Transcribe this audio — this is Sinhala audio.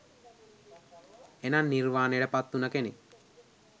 එනම් නිර්වානයට පත් උන කෙනෙක්